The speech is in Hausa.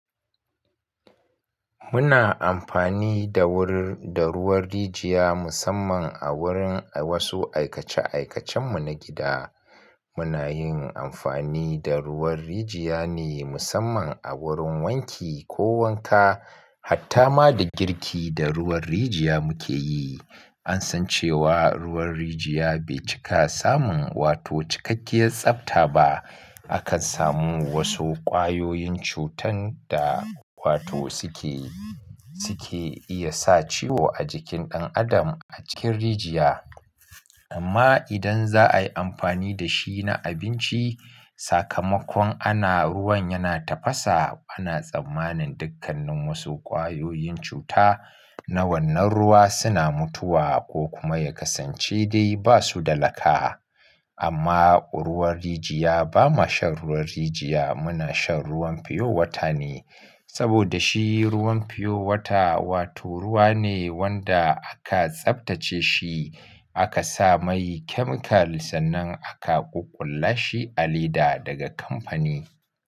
Muna amfani da ruwar rijiya musamman a wurin wasu aikace-aikacen mu na gida. Muna yin amfani da ruwan rijiya ne musamman a wurin wanki ko wanka. Hatta ma da girki da ruwan rijiya muke yi. An san cewa ruwan rijiya bai cika samun wato cikakkiyar tsabta ba. Akan samu wasu ƙwayoyin cutan da wato suke, suke iya sa ciwo a jikin ɗan adam a cikin rijiya. Amma idan za a yi amfani da shi na abinci, sakamakon ana ruwan yana tafasa, ana tsammanin dukkannin wasu ƙwayoyin cuta na wannan ruwa suna mutuwa ko kuma ya kasance dai ba su da laka. Amma ruuwan rijiya ba ma shan ruwan rijiya, muna shan ruwan fiyowata ne. Saboda shi ruwan fiyowata wato ruwa ne wanda aka tsabtace shi, aka sa mai chemical sannan aka ƙuƙulla shi a leda daga kamfani.